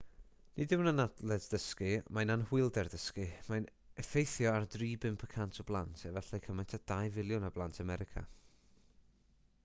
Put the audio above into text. nid yw'n anabledd dysgu mae'n anhwylder dysgu mae'n effeithio ar 3 i 5 y cant o blant efallai cymaint â 2 filiwn o blant america